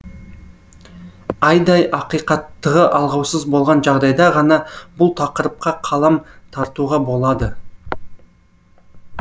айдай ақиқаттығы алғаусыз болған жағдайда ғана бұл тақырыпқа қалам тартуға болады